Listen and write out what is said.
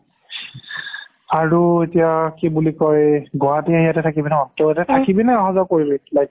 আৰু এতিয়া কি বুলি কয় গুৱাহাতি ইয়াতে থাকিবি ন থাকিবি নে আহা যোৱা কৰিবি